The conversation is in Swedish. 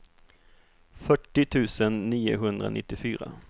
fyrtio tusen niohundranittiofyra